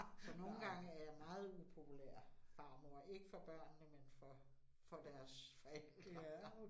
Så nogle gange er jeg meget upopulær farmor, ikke for børnene, men for for deres forældre